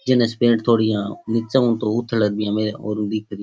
Jeans pant थोड़ी इया निचे हु तो उथल बिया और दिख री।